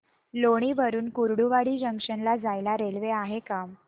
लोणी वरून कुर्डुवाडी जंक्शन ला जायला रेल्वे आहे का